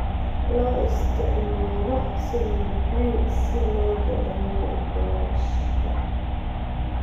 Loo isticmaalo sida macaan si loo dhadhamiyo boorashka.